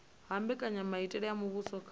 ha mbekanyamitele ya muvhuso kha